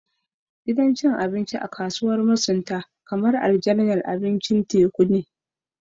Gidan cin abinci a kasuwar masunta kamar aljannar abincin teku ne